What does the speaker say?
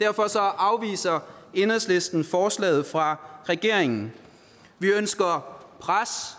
derfor afviser enhedslisten forslaget fra regeringen vi ønsker pres